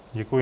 Děkuji.